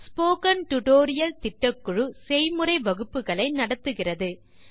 spoken tutorial project குழுவினர் பயிற்சிப் பட்டறைகளை நடத்துகின்றனர்